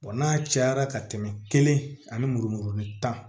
n'a cayara ka tɛmɛ kelen ani muru muruni tan